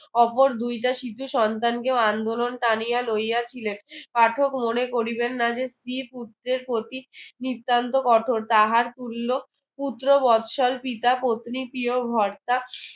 অপর দুইটা সিথে সন্তানাকেও আন্দোলন তানিয়া নিয়েছিলেন পাঠক মনে করিবেন না যে স্ত্রী পুত্রের প্রতীক নিত্যান্ত কঠোর তাহার তুল্য পুত্র বৎসল পিতা পত্নী প্রিয় হর্তা